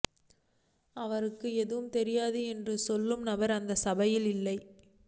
அவருக்கு எதுவும் தெரியாது என்று சொல்பவர் அந்த சபையில் இல்லை